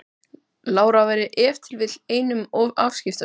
Lára væri ef til vill einum of afskiptasöm.